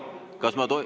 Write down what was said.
Kas ma ...